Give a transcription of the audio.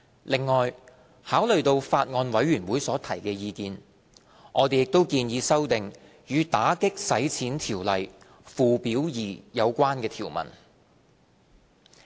另外，考慮到法案委員會所提的意見，我們亦建議修訂與《打擊洗錢條例》附表2有關的條文。